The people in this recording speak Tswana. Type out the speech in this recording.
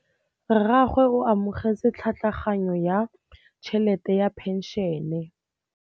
Rragwe o amogetse tlhatlhaganyô ya tšhelête ya phenšene.